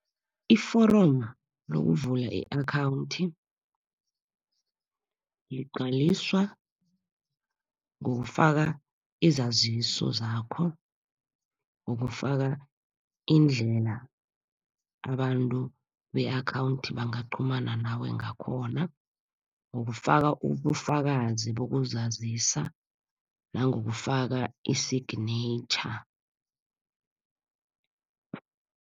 Iforomu lokuvula i-akhawunthi, ligcwaliswa ngokufaka izaziso zakho, ngokufaka indlela abantu be-akhawunthi bangaqhumana nawe ngakhona, ngokufaka ubufakazi bokuzazisa nangokufaka i-signature.